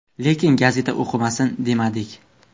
Lekin gazeta o‘qimasin, demadik.